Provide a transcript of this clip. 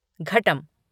घटम